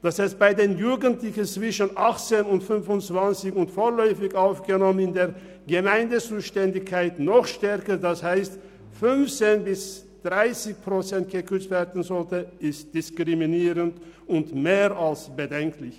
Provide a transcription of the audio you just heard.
Dass bei den Jugendlichen zwischen 18 und 25 Jahren und bei den vorläufig Aufgenommenen noch stärker, also um 15 bis 30 Prozent gekürzt werden soll, ist diskriminierend und mehr als bedenklich.